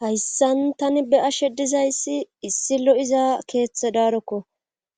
Hayssan tani be ashe dizayssi issi lo'iza keeththe daarokko